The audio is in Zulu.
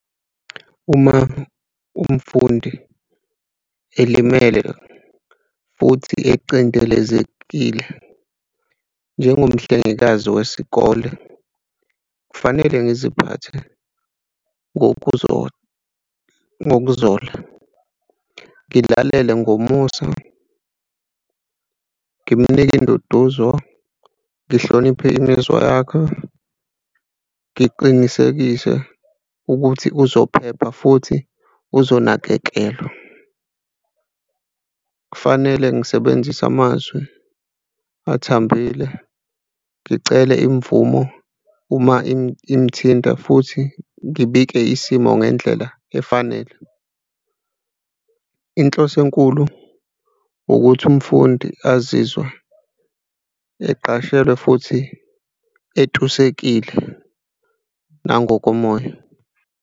Uma umfundi elimele futhi ecindezelekile njengomhlengekazi wesikole, kufanele ngiziphathe ngokuzola, ngokuzola. Ngilalele ngomusa, ngimnike induduzo, ngihloniphe imizwa yakhe, ngiqinisekise ukuthi uzophepha futhi uzonakekelwa. Kufanele ngisebenzise amazwi athambile ngicele imvumo uma imithinta futhi ngibike isimo ngendlela efanele. Inhloso enkulu ukuthi umfundi azizwe eqashelwe futhi etusekile nangokomoya.